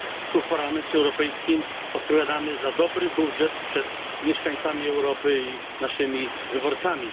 Tu, w Parlamencie Europejskim, odpowiadamy za dobry budżet przed mieszkańcami Europy i naszymi wyborcami.